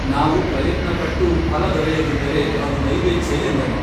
ನಾವು ಪ್ರಯತ್ನ ಪಟ್ಟೂ ಫಲ ದೊರೆಯದಿದ್ದರೆ ಅದು ದೈವೇಚ್ಛೆ ಎಂದನು